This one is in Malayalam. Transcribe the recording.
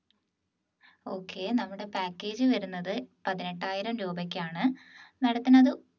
okay നമ്മുടെ package വരുന്നത് പതിനെട്ടായിരം രൂപയ്ക്കാണ് madam ത്തിന് അത്